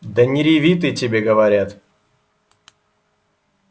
да не реви ты тебе говорят